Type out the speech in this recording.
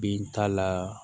Bin t'a la